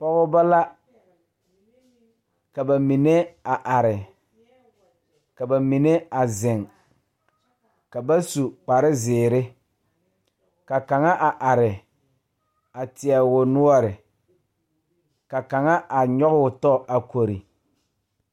Pɔɔbɔ la ka ba mine a are ka ba mine a zeŋ ka ba su kparezeere ka kaŋa a are a teɛ o noɔre ka kaŋa a nyɔgoo tɔ a kori.